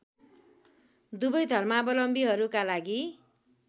दुवै धर्मावलम्बीहरूका लागि